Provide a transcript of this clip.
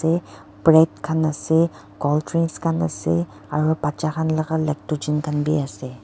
bread khan ase cold drinks khan ase aru bcha laga lectigen khan vi ase.